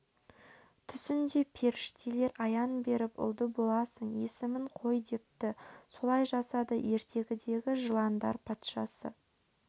түсінде періштелер аян беріп ұлды боласың есімін қой депті солай жасады ертегідегі жыландар патшасы